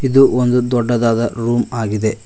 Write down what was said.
ಇದು ಒಂದು ದೊಡ್ಡದಾದ ರೂಮ್ ಆಗಿದೆ.